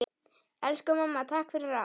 Elsku mamma, takk fyrir allt!